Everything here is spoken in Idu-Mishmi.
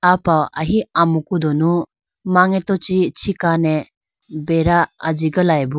Apa ahi amuku dunu mangeto chi chikane beda ajigalayibo.